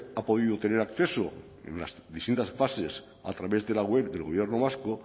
ha podido tener acceso en las distintas fases a través de la web del gobierno vasco